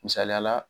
Misaliya la